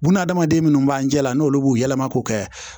Buna adamaden munnu b'an jɛ la n'olu b'u yɛlɛma k'u kɛ